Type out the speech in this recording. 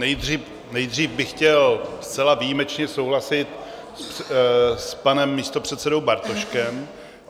Nejdřív bych chtěl zcela výjimečně souhlasit s panem místopředsedou Bartoškem.